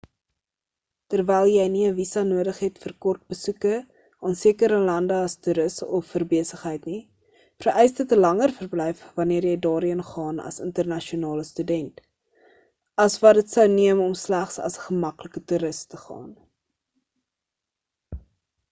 terwyl jy nie 'n visa nodig het vir kort besoeke aan sekere lande as toeris of vir besigheid nie vereis dit 'n langer verblyf wanneer jy daarheen gaan as internasionale student as wat dit sou neem om slegs as 'n gemaklike toeris te gaan